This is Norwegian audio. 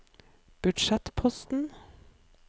budsjettposten